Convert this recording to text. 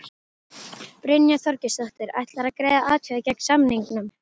Brynja Þorgeirsdóttir: Ætlarðu að greiða atkvæði gegn samningnum?